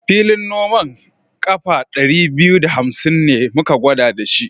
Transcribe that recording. Filin noman ƙafa ɗari biyu da hamsin ne da muka gwada shi.